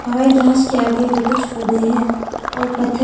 हवाई जहाज के आगे भी कुछ पौधे हैं और पत्थर--